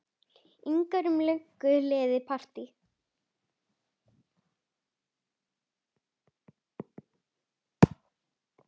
ingar um löngu liðið partý.